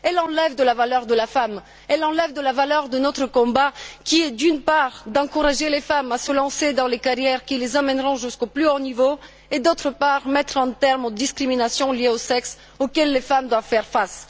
Elles enlèvent de la valeur à la femme, elles enlèvent de la valeur à notre combat qui est, d'une part, d'encourager les femmes à se lancer dans des carrières qui les amèneront jusqu'au plus haut niveau et, d'autre part, de mettre un terme aux discriminations liées au sexe auxquelles les femmes doivent faire face.